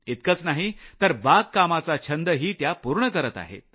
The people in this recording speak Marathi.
इतकंच नाही तर बागकामाचा छंद त्या पूर्ण करत आहेत